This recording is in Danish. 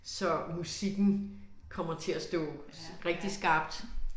Så musikken kommer til at stå rigtig skarpt